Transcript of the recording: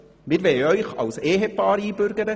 Wir wollen Sie als Ehepaar einbürgern.